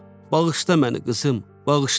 Bağışla məni, qızım, bağışla.